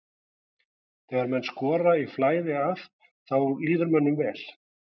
Þegar menn skora í flæði að þá líður mönnum vel.